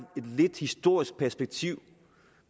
lidt historisk perspektiv